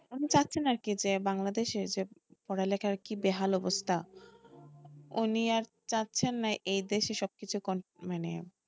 উনি চাচ্ছেন না আরকি যে বাংলাদেশে যে পড়া লেখার কি বেহাল অবস্থা উনি আর চাচ্ছেন না আর এ দেশে সবকিছু মানে,